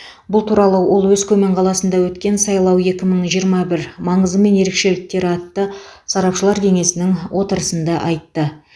бұл туралы ол өскемен қаласында өткен сайлау екі мың жиырма бір маңызы мен ерекшеліктері атты сарапшылар кеңесінің отырысында айтты